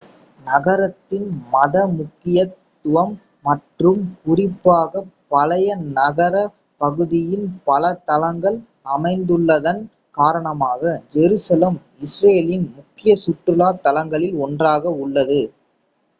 நகரத்தின் மத முக்கியத்துவம் மற்றும் குறிப்பாக பழைய நகரப் பகுதியின் பல தளங்கள் அமைந்துள்ளதன் காரணமாக ஜெருசலேம் இஸ்ரேலின் முக்கிய சுற்றுலா தலங்களில் ஒன்றாக உள்ளது